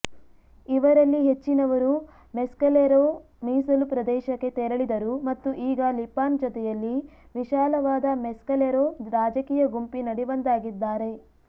ಇವರಲ್ಲಿ ಹೆಚ್ಚಿನವರು ಮೆಸ್ಕಲೆರೋ ಮೀಸಲು ಪ್ರದೇಶಕ್ಕೆ ತೆರಳಿದರು ಮತ್ತು ಈಗ ಲಿಪಾನ್ ಜೊತೆಯಲ್ಲಿ ವಿಶಾಲವಾದ ಮೆಸ್ಕಲೆರೋ ರಾಜಕೀಯ ಗುಂಪಿನಡಿ ಒಂದಾಗಿದ್ದಾರೆ